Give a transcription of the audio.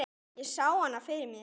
Ég sá hana fyrir mér.